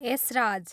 Esraj